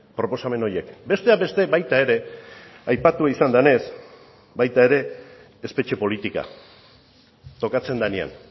proposamen horiek besteak beste baita ere aipatu izan denez baita ere espetxe politika tokatzen denean